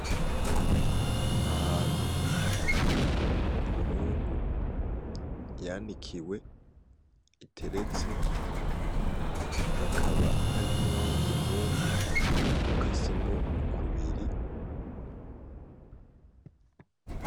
Ahantu hari Imyungu yanikiwe iteretse, hakaba hari n’uwundi Mwungu ukasemwo kubiri.